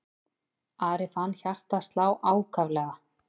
Ari fann hjartað slá ákaflega.